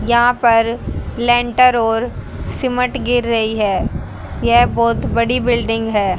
यहां पर लेंटर और सिमट गिर रही है यह बहोत बड़ी बिल्डिंग है।